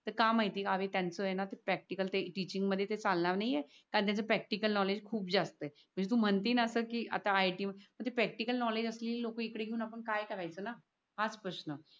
तर का माहिती ये का? आम्ही त्याच ये ना ते प्रॅक्टिकल ते टिचिंग मध्ये ते चालणार नाय ये कारण तुमच प्रॅक्टिकल नॉलेज खूप जास्त ये. म्हणजे तू म्हणती ये ना कि अस आता i. t मध्ये म्हणजे प्रॅक्टिकल नॉलेजअस लेली लोक आपण इकडे घेऊन काय कार्यच ना? हाच प्रश्न